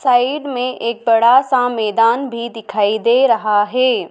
Side में एक बड़ा सा मैदान भी दिखाई दे रहा है।